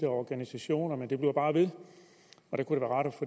organisationer men det bliver bare ved der kunne